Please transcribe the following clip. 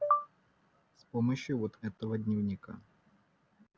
с помощью вот этого дневника